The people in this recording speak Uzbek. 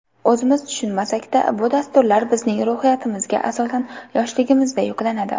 O‘zimiz tushunmasakda, bu dasturlar bizning ruhiyatimizga asosan yoshligimizda yuklanadi.